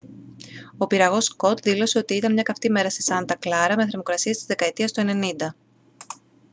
ο πυραγός scott δήλωσε ότι «ήταν μια καυτή μέρα στη σάντα κλάρα με θερμοκρασίες της δεκαετίας του 90